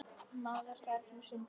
Maður þarf nú sinn tíma.